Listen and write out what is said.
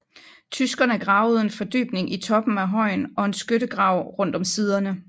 Tyskerne gravede en fordybning i toppen af højen og en skyttegrav rundt om siderne